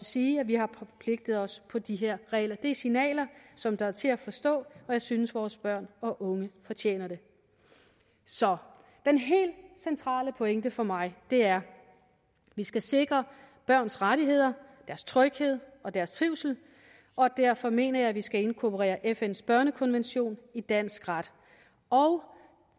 sige at vi har forpligtet os på de her regler det er signaler som er til at forstå og jeg synes vores børn og unge fortjener det så den helt centrale pointe for mig er vi skal sikre børns rettigheder deres tryghed og deres trivsel og derfor mener jeg vi skal inkorporere fns børnekonvention i dansk ret